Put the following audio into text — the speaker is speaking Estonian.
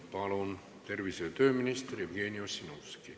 Palun, tervise- ja tööminister Jevgeni Ossinovski!